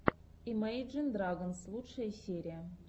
имейджин драгонс лучшая серия